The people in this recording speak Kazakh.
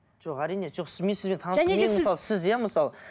жоқ әрине жоқ сіз мен сізбен сіз иә мысалы